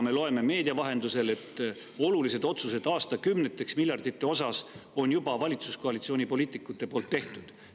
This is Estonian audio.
Me loeme meedia vahendusel, et valitsuskoalitsiooni poliitikud on olulised otsused, miljardeid, juba aastakümneteks ette ära teinud.